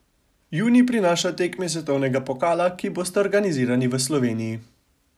Junij prinaša tekmi svetovnega pokala, ki bosta organizirani v Sloveniji.